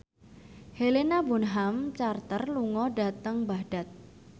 Helena Bonham Carter lunga dhateng Baghdad